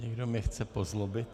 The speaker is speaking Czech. Někdo mě chce pozlobit.